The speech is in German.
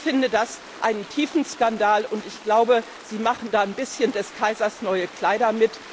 Ich empfinde das als einen tiefen Skandal, und ich glaube, Sie machen da ein bisschen des Kaisers neue Kleider.